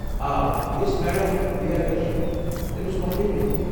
آ، یہِ ٲس میڈم پریہدرشنی، تٔمس مۄكلییہِ میٖٹنٛگ۔